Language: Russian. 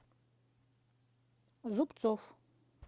зубцов